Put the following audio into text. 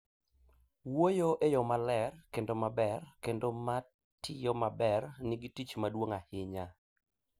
Wuoyo e yo maler kendo maber kendo matiyo maber nigi tich maduong' ahinya